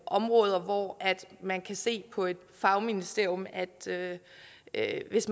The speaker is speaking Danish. områder hvor man kan se på et fagministerium at at hvis